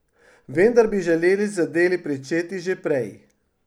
Vendar bi želeli z deli pričeti že prej.